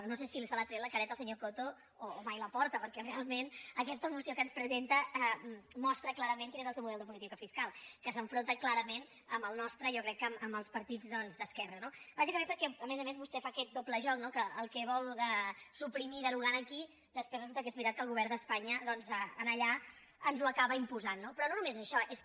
no sé si se l’ha tre·ta la careta el senyor coto o mai la porta perquè realment aquesta moció que ens presenta mostra cla·rament quin és el seu model de política fiscal que s’enfronta clarament amb el nostre i jo crec que amb els partits doncs d’esquerra no bàsicament perquè a més a més vostè fa aquest doble joc no que el que vol suprimir derogant aquí després resulta que és veritat que el govern d’espanya doncs allà ens ho acaba imposant no però no només això és que